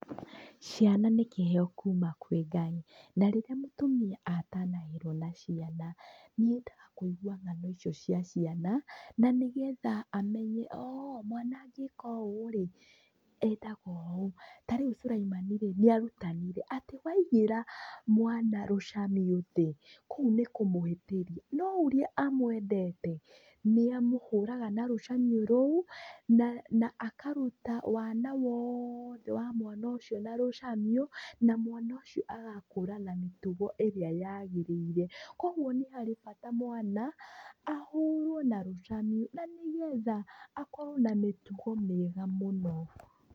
Ciana nĩ kĩheo kuuma kwĩ Ngai. Na rĩrĩa mũtumia atanahĩrwo na ciana, nĩ endaga kũigua ngano icio cia ciana na nĩngetha amenye mwana angĩka ũ ũrĩ endaga ũũ. Tarĩu Suleimani nĩ arutanire atĩ waigĩra mwana rũcamio thĩ, kũu nĩ kũmũhĩtĩria. No ũrĩa amwendete nĩ amũhũraga na rũcamio rũu na akaruta wana wothe wa mwana ucio na rũcamio na mwana ũcio agakũra na mĩtugo ĩrĩa yagĩrĩire. Kwoguo nĩ harĩ bata mwana ahũrũo na rũcamio na nĩ getha akorwo na mĩtugo mĩega mũno.